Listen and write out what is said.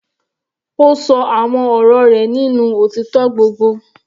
Ó ṣọ àwọn ọ̀rọ̀ rẹ̀ nínú òtítọ́ gbogbo.